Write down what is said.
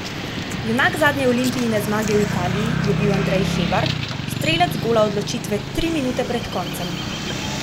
Junak zadnje Olimpijine zmage v Italiji je bil Andrej Hebar, strelec gola odločitve tri minute pred koncem.